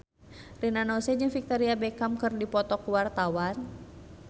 Rina Nose jeung Victoria Beckham keur dipoto ku wartawan